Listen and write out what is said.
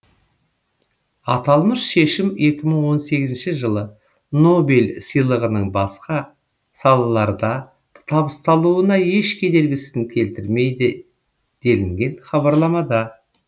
аталмыш шешім екі мың он сегізінші жылы нобель сыйлығының басқа салаларда табысталуына еш кедергісін келтірмейді делінген хабарламада